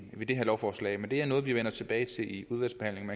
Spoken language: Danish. med de her lovforslag det er noget vi vender tilbage til i udvalgsbehandlingen